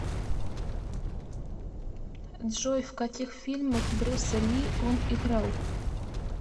джой в каких фильмах брюса ли он играл